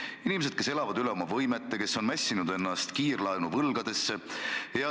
Nad on inimesed, kes elavad üle oma võimete ja kes on mässinud end kiirlaenuvõlgadesse.